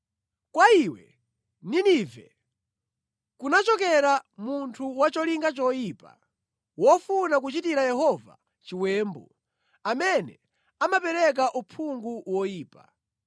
Kwa iwe, Ninive, kunachokera munthu wa cholinga choyipa, wofuna kuchitira Yehova chiwembu, amene amapereka uphungu woyipa.